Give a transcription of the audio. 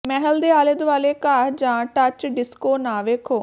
ਮਹਿਲ ਦੇ ਆਲੇ ਦੁਆਲੇ ਘਾਹ ਜਾਂ ਟੱਚ ਡਿਸਕੋ ਨਾ ਵੇਖੋ